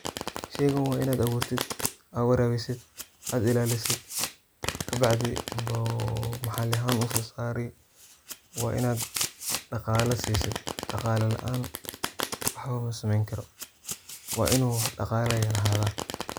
Sheygan wa inad aburtit, aa warabisid ,ad ilalisid kabacdi yuu bahal ahan usosari. waa inad daqala sisid, daqala laan waxba maa sameyni karo, waa inu daqala lahada.